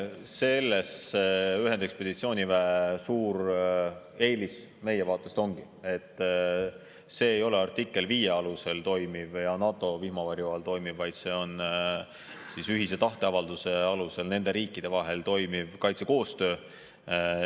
Selles ühendekspeditsiooniväe suur eelis meie vaatest ongi, et see ei ole artikli 5 alusel toimuv ja NATO vihmavarju all toimuv, vaid see on ühise tahteavalduse alusel nende riikide vahel toimuv kaitsekoostöö.